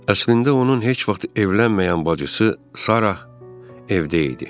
Əslində onun heç vaxt evlənməyən bacısı Sarah evdə idi.